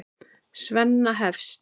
Svenna hefst.